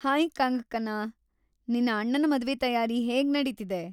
Hi Kangana! ನಿನ್ನ ಅಣ್ಣನ ಮದ್ವೆ ತಯಾರಿ ಹೇಗ್‌ ನಡೀತಿದೆ?